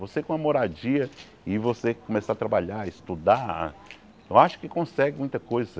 Você com a moradia e você começar a trabalhar, estudar, eu acho que consegue muita coisa.